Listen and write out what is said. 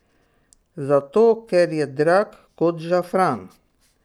Zato ker je drag kot žafran.